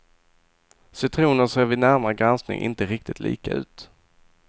Citroner ser vid närmare granskning inte riktigt lika ut.